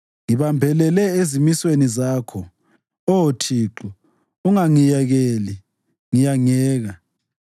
Ngibambelele ezimisweni zakho, Oh Thixo; ungangiyekeli ngiyangeka.